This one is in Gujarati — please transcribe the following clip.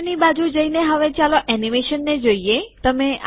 પાછળની બાજુ જઈને હવે ચાલો એનિમેશનને જોઈએ